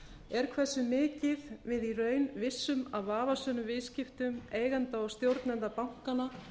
er hversu mikið við í raun vissum af vafasömum viðskiptum eigenda og stjórnenda bankanna